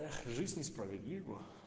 эх жизнь несправедлива